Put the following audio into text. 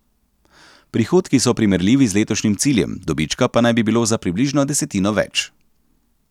Prihodki so primerljivi z letošnjim ciljem, dobička pa naj bi bilo za približno desetino več.